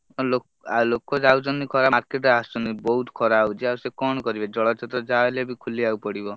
ହଁ ଲୋକ ଯାଉଛନ୍ତି ଖ ହାଟୁକୁ ଆସୁଛନ୍ତି ବହୁତ୍ ଖରା ହଉଛି ଆଉ ସିଏ କଣ କରିବେ ଜଳଛତ୍ର ଯାହାବି ହେଲେ ଖୋଲିବାକୁ ପଡିବ।